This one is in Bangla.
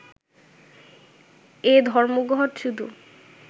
এ ধর্মঘট শুধু